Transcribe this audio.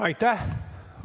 Aitäh!